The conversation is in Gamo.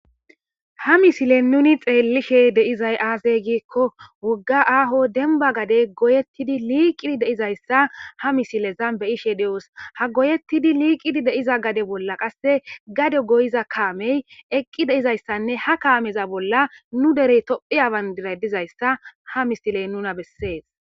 ha misile nuni xeellishe deizay aasey giikko wogga aaho denba gade goyettidi liiqidi deizayssa ha misilezan beyishe de7os ha goyettidi liiqidi deiza gade bolla qasse gade goyiza kaamey eqqi deizayssanne ha kaameza bolla nu derey tophi aban diray dizayssa ha misiley nuna bessees